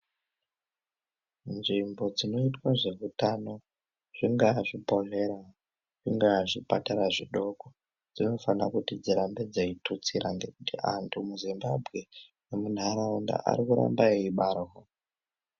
Nzvimbo dzinoitwe zveutano zvingaa zvibhehleya, zvingaa zvipatara zvidoko dzinofanire kuti dzirambe dzeitutsira ngekuti anhu muZimbabwe nemunharaunda arikuramba eibara.